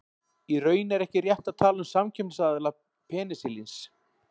Í raun er ekki rétt að tala um samkeppnisaðila penisilíns.